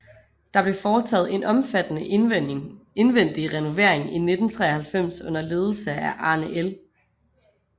Der blev foretaget en omfattende indvendig renovering i 1993 under ledelse af Arne L